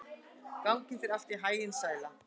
Gangi þér allt í haginn, Sæla.